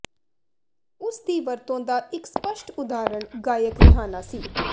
ਉਸ ਦੀ ਵਰਤੋਂ ਦਾ ਇੱਕ ਸਪੱਸ਼ਟ ਉਦਾਹਰਣ ਗਾਇਕ ਰਿਹਾਨਾ ਸੀ